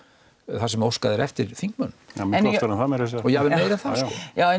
þar sem óskað er eftir þingmönnum og oftar en það meira að segja en